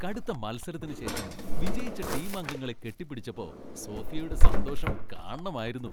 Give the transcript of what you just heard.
കടുത്ത മത്സരത്തിന് ശേഷം, വിജയിച്ച ടീമംഗങ്ങളെ കെട്ടിപ്പിടിച്ചപ്പോ സോഫിയയുടെ സന്തോഷം കാണണമായിരുന്നു.